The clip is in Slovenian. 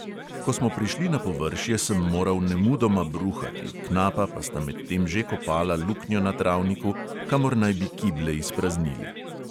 Ko smo prišli na površje, sem moral nemudoma bruhati, knapa pa sta medtem že kopala luknjo na travniku, kamor naj bi kible izpraznili.